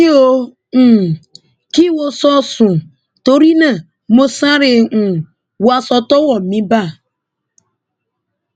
mi ò um kì í wọṣọ sùn torí náà mo sáré um wọ aṣọ tọwọ mi bá